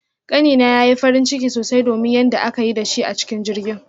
Kani na yayi farin ciki sosai domin yanda aka yi da shi a cikin jirgin